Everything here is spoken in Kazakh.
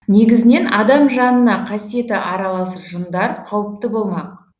негізінен адам жанына қасиеті аралас жындар қауіпті болмақ